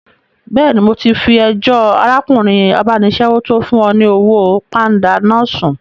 Bẹ́ẹ̀ni, mo ti fi ẹjọ́ arákùnrin abánisẹ́wò tó fún ọ ní owó pánda náà sùn